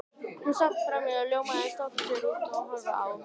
Hún sat frammí og ljómaði af stolti þegar hún horfði á